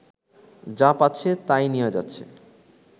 যা পাচ্ছে তাই নিয়ে যাচ্ছে